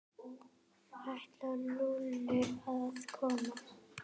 Ætlaði Lúlli að koma?